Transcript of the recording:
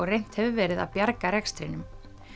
reynt hefur verið að bjarga rekstrinum